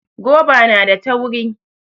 Goba na da tauri